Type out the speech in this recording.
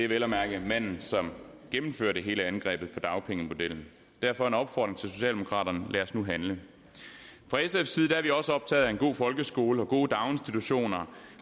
vel at mærke manden som gennemførte hele angrebet på dagpengemodellen derfor en opfordring til socialdemokraterne lad os nu handle fra sfs side er vi også optaget af en god folkeskole og gode daginstitutioner